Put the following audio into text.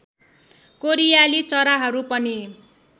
कोरियाली चराहरू पनि